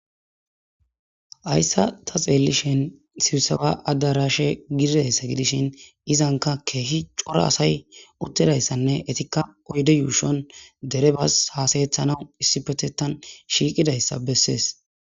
Hayssa ta xeellishen sibsawa addarashe gidizassa gidishin izanka keehi cora asay uttedayssanne etikka oyde yuushon dere bas hasayethanaw issi petetan shiiqidayssa bessees